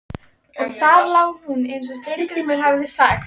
Og þar lá hún eins og Steingrímur hafði sagt.